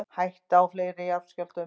Hætta á fleiri skjálftum